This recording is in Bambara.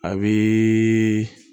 A bɛ